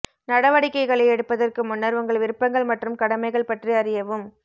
நடவடிக்கைகளை எடுப்பதற்கு முன்னர் உங்கள் விருப்பங்கள் மற்றும் கடமைகள் பற்றி அறியவும்